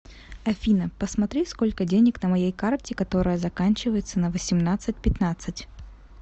афина посмотри сколько денег на моей карте которая заканчивается на восемнадцать пятнадцать